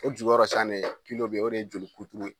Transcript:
O jukɔrɔ san ne kilo be ye o de ye joli kuturu ye